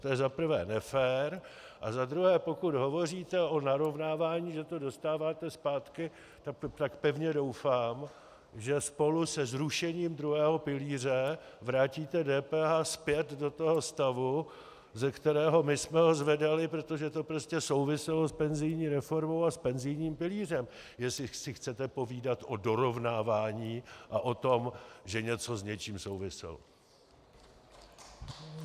To je za prvé nefér a za druhé, pokud hovoříte o narovnávání, že to dostáváte zpátky, tak pevně doufám, že spolu se zrušením druhého pilíře vrátíte DPH zpět do toho stavu, ze kterého my jsme ho zvedali, protože to prostě souviselo s penzijní reformou a s penzijním pilířem - jestli si chcete povídat o dorovnávání a o tom, že něco s něčím souviselo.